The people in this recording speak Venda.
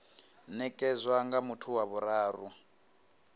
nekedzwa nga muthu wa vhuraru